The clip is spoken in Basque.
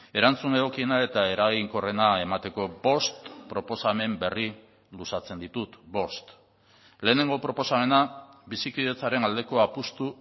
erantzun egokiena eta eraginkorrena emateko bost proposamen berri luzatzen ditut bost lehenengo proposamena bizikidetzaren aldeko apustu